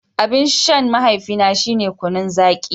Abin shan mahaifina shine kunun zaki.